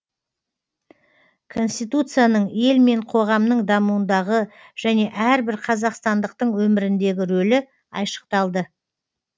конституцияның ел мен қоғамның дамуындағы және әрбір қазақстандықтың өміріндегі рөлі айшықталды